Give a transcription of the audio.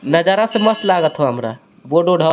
नजारा से मस्त लागत हो हमारा --